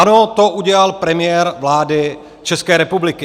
Ano, to udělal premiér vlády České republiky.